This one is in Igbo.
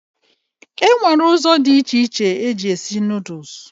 E nwere ụzọ dị iche iche eji esi nuduls.